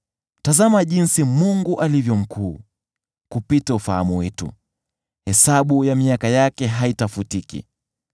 Tazama jinsi Mungu alivyo mkuu, kupita ufahamu wetu! Hesabu ya miaka yake haitafutiki.